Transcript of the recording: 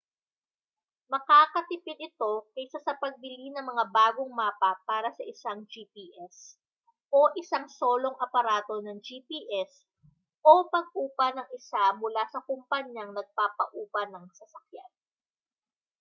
makakatipid ito kaysa sa pagbili ng mga bagong mapa para sa isang gps o isang solong aparato ng gps o pag-upa ng isa mula sa kompanyang nagpapaupa ng sasakyan